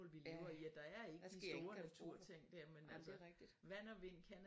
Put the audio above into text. Ja der sker ingen katastrofer ej men det er rigtigt